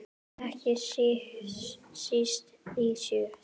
Ekki síst í sjö.